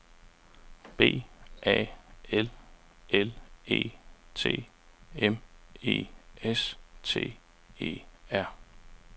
B A L L E T M E S T E R